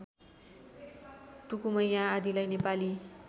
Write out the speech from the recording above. टुकुमैया आदिलाई नेपाली